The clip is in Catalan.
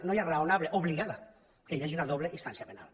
ja no raonable obligada que hi hagi una doble instància penal